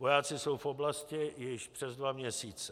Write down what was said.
Vojáci jsou v oblasti již přes dva měsíce.